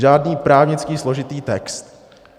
Žádný právnický složitý text.